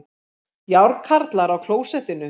Járnkarlar á klósettinu